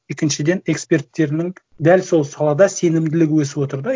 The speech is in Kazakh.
екіншіден эксперттерінің дәл сол салада сенімділігі өсіп отыр да